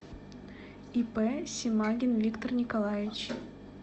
ип семагин виктор николаевич